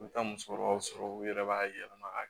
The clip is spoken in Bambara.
U bɛ taa musokɔrɔbaw sɔrɔ u yɛrɛ b'a yɛlɛma ka kɛ